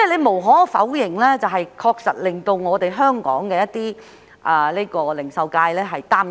無可否認，這確實令香港零售界感到擔憂。